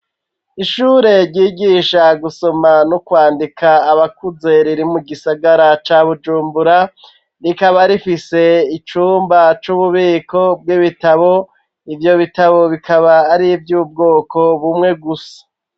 Ishure ryigisha gusoma no kwandika abakuze riri mu gisagara ca bujumbura rikaba rifise icumba c'ububiko bw'ibitabo ivyo bitabo bikaba ari vy'ubwoko bumwe gusa.